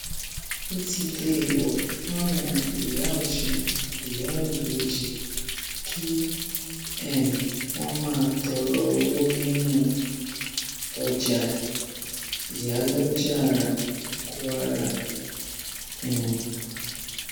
ó ti déèwọ fáwọn ìyá ọsùn ìyá ìbejì kí um wọn máa tọrọ owó nínú ọjàìyálójára kwara um